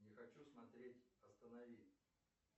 не хочу смотреть останови